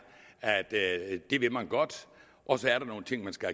at det vil man godt og så er der nogle ting man skal